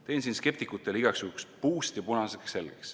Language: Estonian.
Teen siin skeptikutele igaks juhuks puust ja punaseks selgeks.